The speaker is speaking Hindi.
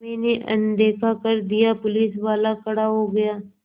मैंने अनदेखा कर दिया पुलिसवाला खड़ा हो गया